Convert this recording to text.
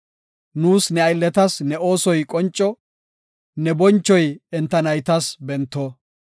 Nuus ne aylletas ne oosoy qonco; ne bonchoy enta naytas bento.